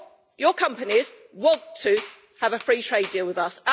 Your companies want to have a free trade deal with us.